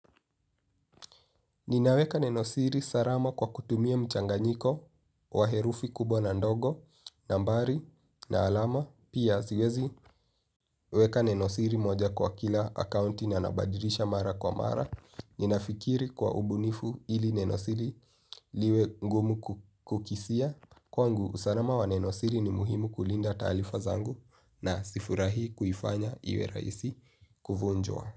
Ninaweka nenosiri salama kwa kutumia mchanganyiko wa herufi kubwa na ndogo, nambari, na alama, pia siwezi weka nenosiri moja kwa kila akaunti na nabadilisha mara kwa mara. Ninafikiri kwa ubunifu ili nenosiri liwe ngumu kukisia. Kwangu, usalama wa nenosiri ni muhimu kulinda taarifa zangu na sifurahii kuifanya iwe rahisi kuvunjwa.